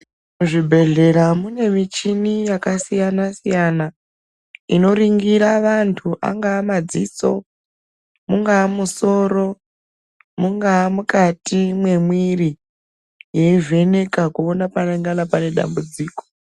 Muzvibhedhlera mune michini yakasiyana-siyana inoningire anthu angaa madziso, mungaa musoro, mungaa mukati mwemwiri, yeivheneka kuona panengana pane dambudziko.